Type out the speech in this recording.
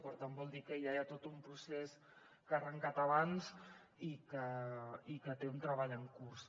per tant vol dir que ja hi ha tot un procés que ha arrencat abans i que té un treball en curs